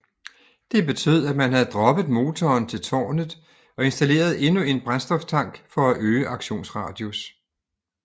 Det betød at man havde droppet motoren til tårnet og installeret endnu en brændstoftank for at forøge aktionsradius